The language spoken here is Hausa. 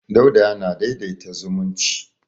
Dauda yana daidaita zumunci.